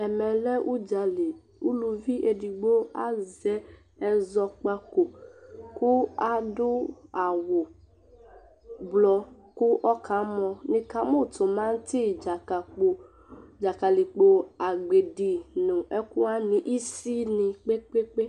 Ɛmɛ lɛ ʊdzalɩ Ʊlʊvi edigbo azɛ ɛzɔkpako kʊ adʊ awʊblɔ kʊ ɔkamɔ Nɩkamʊ timati, dzakalikpo, agbedi nʊ ɛkʊwanɩ, isìnɩ kpekpekpe